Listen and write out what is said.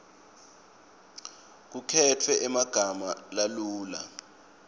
kukhetfwe emagama lalula